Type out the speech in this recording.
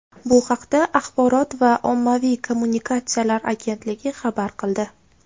Bu haqda Axborot va ommaviy kommunikatsiyalar agentligi xabar qildi .